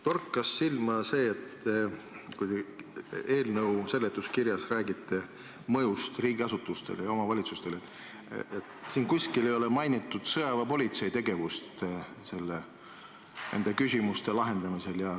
Torkas silma see, et kui te eelnõu seletuskirjas räägite mõjust riigiasutustele ja omavalitsustele, siis pole seal kuskil mainitud sõjaväepolitsei tegevust nende küsimuste lahendamisel.